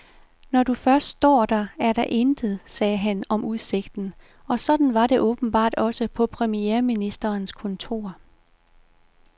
Når du først står der, er der intet, sagde han om udsigten, og sådan var det åbenbart også på premierministerens kontor.